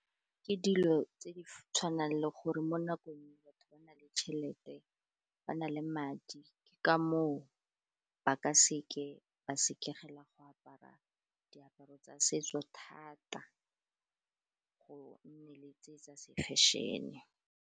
Ke dilo tse di tshwanang le gore mo nakong batho ba na le tšhelete ba na le madi, ke ka moo ba ka seke ba sekegela go apara diaparo tsa setso thata, go nne le tse tsa se fashion-e.